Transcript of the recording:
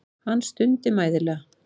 Hann stundi mæðulega.